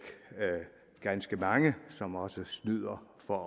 ganske mange som også snyder for